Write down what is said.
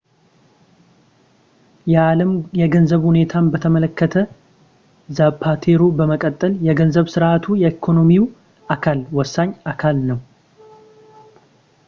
የዓለም የገንዘብ ሁኔታን በተመለከተ ዛፓቴሮ በመቀጠል የገንዘብ ሥርዓቱ የኢኮኖሚው አካል ወሳኝ አካል ነው